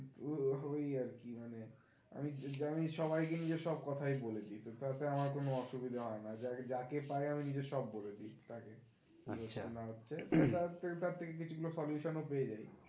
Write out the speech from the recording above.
ওই ওই আরকি মানে আমি যেমন সবাই কে নিজের সব কথাই বল দিই, তাতে আমার কোনো অসুবিধা হয় না যা~ যাকে পাই আমি নিজের সব বলে দিই তাকে, তার থেকে কিছু গুলো solution ও পেয়ে যাই